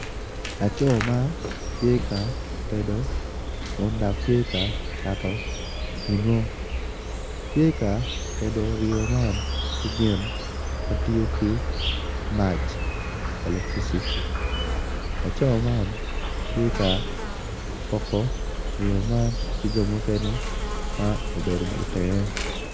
Laco matye ka tedo kun dok tye ka cato ringo tye ka tedo ringo man ki gin matiyo ki man electricity, laco man tye ka poko ring man ki jo mukene ma obedo i tenge.